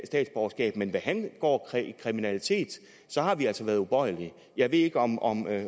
statsborgerskab men hvad angår kriminalitet har vi altså været ubøjelige jeg ved ikke om om